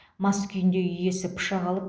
мас күйінде үй иесі пышақ алып